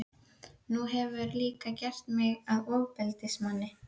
Nú hefurðu líka gert mig að ofbeldismanni.